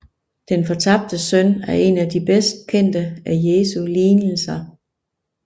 Den fortabte søn er en af de bedst kendte af Jesu lignelser